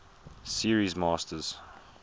series masters